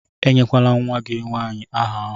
Enyekwala nwa gị nwanyị áhà ahụ!